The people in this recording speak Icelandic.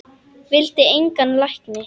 Vildi engan lækni.